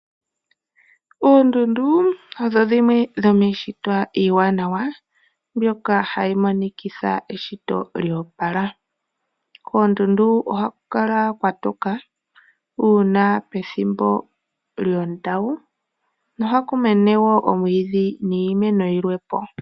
Oondundu odho dhimwe dhomiishitwa iiwanawa, mbyoka hayi monikitha eshito lyoopala. Koondundu ohaku kala kwatoka uuna pethimbo lyondawu, nohaku mene wo omwiidhi niimeno iikwawo.